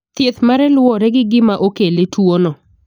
Thieth mare luwore gi gima okele tuono.